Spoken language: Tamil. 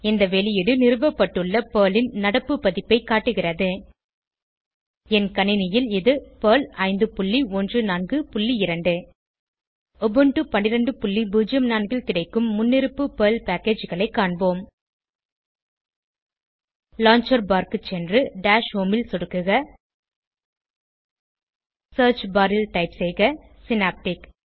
இந்த வெளியீடு நிறுவப்பட்டுள்ள பெர்ல் ன் நடப்பு பதிப்பைக் காட்டுகிறது என் கணினியில் இது பெர்ல் 5142 உபுண்டு 1204 ல் கிடைக்கும் முன்னிருப்பு பெர்ல் packageகளை ஐ காண்போம் லான்ச்சர் பார் க்கு சென்று டாஷ் ஹோம் ல் சொடுக்குக சியர்ச் barல் டைப் செய்க சினாப்டிக்